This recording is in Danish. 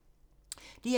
DR2